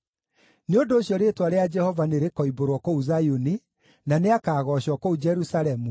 Nĩ ũndũ ũcio rĩĩtwa rĩa Jehova nĩrĩkoimbũrwo kũu Zayuni, na nĩakagoocwo kũu Jerusalemu